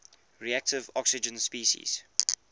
reactive oxygen species